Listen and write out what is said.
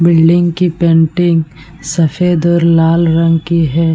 Building की painting सफ़ेद और लाल रंग की है ।